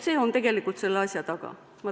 See on tegelikult selle asja taga.